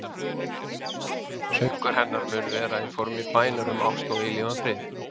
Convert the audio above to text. Söngur hennar mun vera í formi bænar um ást og eilífan frið.